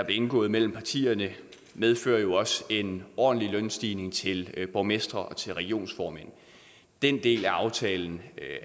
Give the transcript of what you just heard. indgået mellem partierne medfører jo også en ordentlig lønstigning til borgmestre og til regionsformænd den del af aftalen